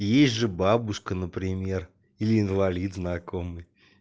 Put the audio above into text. есть же бабушка например или инвалид знакомый